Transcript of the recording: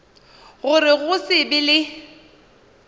gore go se be le